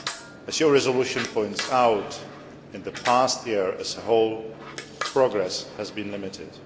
As your resolution points out, in the past year as a whole, progress has been limited.